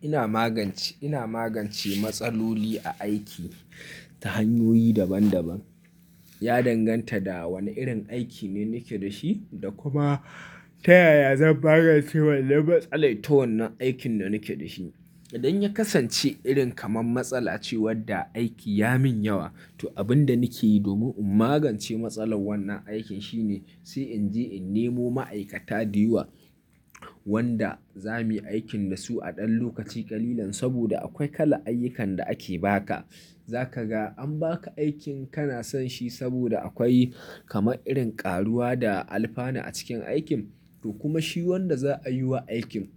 Ina magance, ina magance matsaloli a aiki ta hanyoyi daban daban. Ya danganta da wane irin aiki ne nake da shi da kuma ta yaya zan magance wannan matsalai ta wannan aikin da nake da shi. Idan ya kasance irin kamar matsala ce wadda aiki ya min yawa, to abin da nake yi domin in magance matsalar wannan aikin shine sai in je in nemo ma'aikata da yawa wanda za mu yi aikin da su a ɗan lokaci ƙalilan. Saboda akwai kala ayyukan da ake ba ka. Za ka ga an ba ka aikin kana son shi saboda akwai kama irin ƙaruwa da alfana a cikin aikin to kuma shi wanda za a yi wa aikin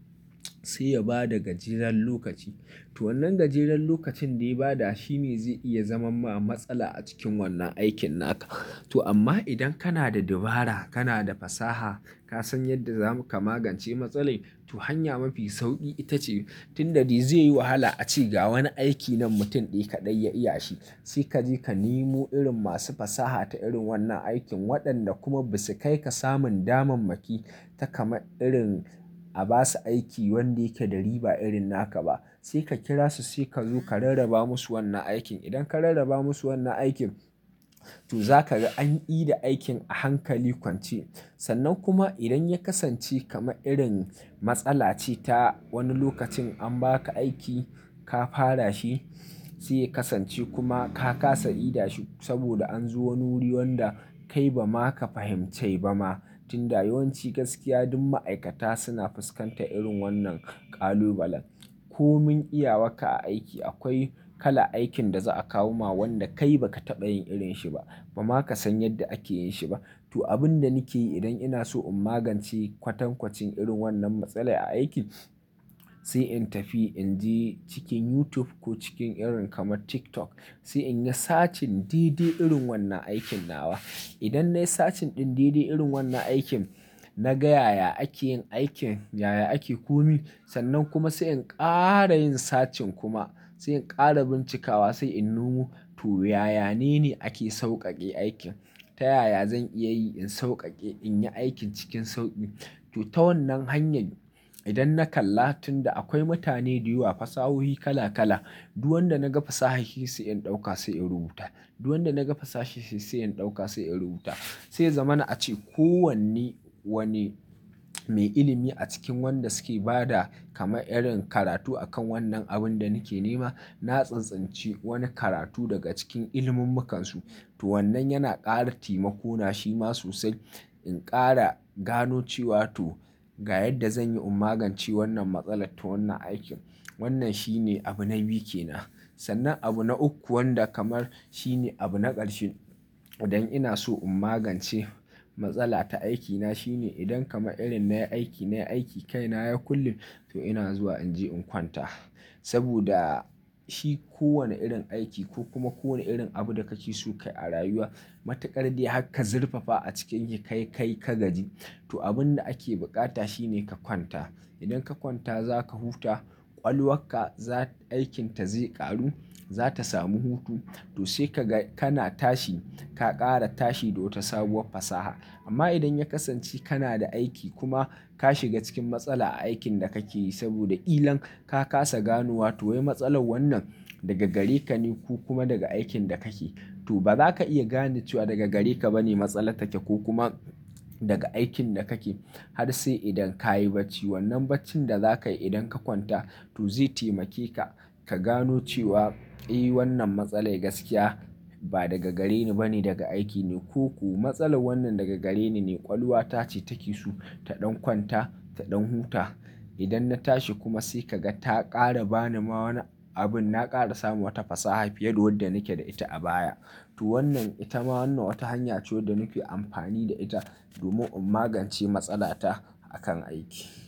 sai ya ba da gajeren lokaci. To wannan gajeren lokacin da ya ba da shi ne zai iya zaman ma matsala a cikin wannan aikin naka. To amma idan kana da dabara, kana da fasaha, ka san yadda za mu ka magance matsalin, to hanya mafi sauƙi ita ce tunda zai yi wahala a ce ga wani aiki nan mutum ɗaya kaɗai ya iya shi. Sai ka je ka nemo irin masu fasaha ta irin wannan aikin waɗanda kuma ba su kai ka samun damammaki ta kama irin a ba su aiki wanda yake da riba irin naka ba. Sai ka kira su sai ka zo ka rarraba musu wannan aikin. Idan ka rarraba musu wannan aikin to za ka ga an ƙida aikin a hankali kwance. Sannan kuma idan ya kasance kama irin matsala ce ta wani lokacin an ba ka aiki ka fara shi sai ya kasance kuma ka ƙasa idashi saboda an zo wani wuri wanda kai ba ma ka fahimce ba ma. Tunda yawanci gaskiya duk ma'aikata suna fuskanta irin wannan ƙalubalen. Ko min iya wa ka a aiki akwai kala aikin da za a kawo ma wanda kai ba ka taɓa yin irin shi ba, ba ma ka san yadda ake yin shi ba. To abin da nake yi idan ina so in magance kwatankwacin irin wannan matsala a aiki, sai in tafi in je cikin YouTube ko cikin irin kamar TikTok. Sai in yi sacin dede irin wannan aikin nawa. Idan na yi sacin ɗin didi irin wannan aikin, na ga yaya ake yin aikin, yaya ake ko mi sannan kuma sai in ƙara yin sacin kuma sai in ƙara bincikawa sai in noma. To yaya nene ake sauƙaƙe aikin. Ta yaya zan iya yi in sauƙaƙe in yi aikin cikin sauƙi. To ta wannan hanyar idan na kalla tunda akwai mutane da yawa fasahohi kala kala, duk wanda na ga fasaha shi sai in ɗauka sai in rubuta. Duk wanda na ga fasaha shi sai in ɗauka sai in rubuta. Sai zamani a ce kowanne wani mai ilimi a cikin wanda suke ba da kama irin karatu a kan wannan abin da nake nema, na tsintsintsice wani karatu daga cikin ilimummukan su. To wannan yana ƙara taimako na shi ma sosai. In ƙara gano cewa to ga yadda zan yi in magance wannan matsala ta wannan aikin. Wannan shi ne abu na biyu ke nan. Sannan abu na uku wanda kamar shi ne abu na ƙarshe idan ina so in magance matsala ta aikina shine idan kama irin na yi aiki, na yi aiki kai na ya kullim to ina zuwa in je in kwanta. Saboda shi kowane irin aiki ko kuma kowane irin abu da ka ki so ka yi a rayuwa, matuƙar dai haka zirfafa a cikinki kai kai ka gaji. To abin da ake buƙata shi ne ka kwanta. Idan ka kwanta za ka huta, ƙwalwarka aikin ta zai ƙaru, za ta samu hutu to sai ka ga kana tashi ka ƙara tashi da wata sabuwar fasaha. Amma idan ya kasance kana da aiki kuma ka shiga cikin matsala a aikin da kake yi saboda ilan ka ƙasa ganuwa to wai matsalar wannan daga gare ka ne ko kuma daga aikin da kake yi. To ba za ka iya gane cewa daga gare ka ba ne matsalar take ko kuma daga aikin da kake yi. Har sai idan ka yi bacci wannan baccin da za ka yi idan ka kwanta to zai taimake ka, ka gano cewa, "Eh wannan matsala gaskiya ba daga gare ni ba ne daga aiki ne" ko kuma "Matsalar wannan daga gare ni ne ƙwaluwa ta ce take so ta ɗan kwanta ta ɗan huta." Idan na tashi kuma sai ka ga ta ƙara ba ni ma wani abin na ƙara samu wata fasaha fiye da wadda nake da ita a baya. To wannan ita ma wannan wata hanya ce wadda nake amfani da ita domin in magance matsala ta akan aiki.